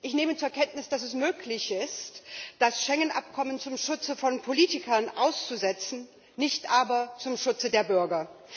Ich nehme zur Kenntnis, dass es möglich ist, das Schengen Abkommen zum Schutze von Politikern auszusetzen, nicht aber zum Schutze der Bürger.